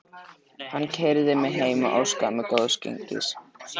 Hann keyrði mig heim og óskaði mér góðs gengis.